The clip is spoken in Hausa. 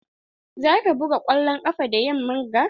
Za ka buga kwallon ƙafa da yamman ga?